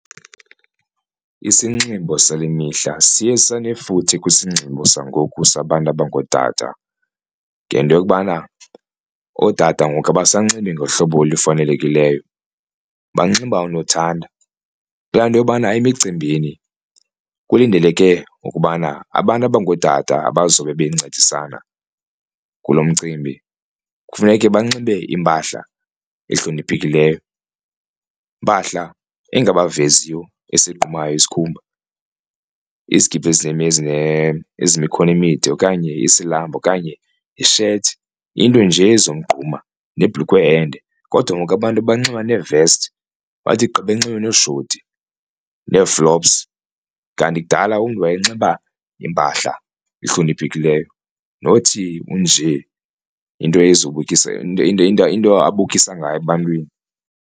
Isinxibo sale mihla siye sanefuthe kwisinxibo sangoku sabantu abangootata ngento yokubana ootata ngoku abasanxibi ngohlobo olufanelekileyo banxiba unothanda, kulaa nto yobana emicimbini kulindeleke ukubana abantu abangootata abazobe bencedisana kulo mcimbi kufuneke banxibe impahla ehloniphekileyo, impahla engabaveziyo esigqumayo isikhumba. Izigidi ezinemikhono emide okanye isilamba okanye ishethi, into nje ezomgquma nebhulukhwe ende. Kodwa ngoku abantu banxiba neevesti bathi gqi benxibe nooshoti neeflops kanti kudala umntu wayenxiba impahla ehloniphekileyo nothi unje into into into into into abukisa ngayo ebantwini.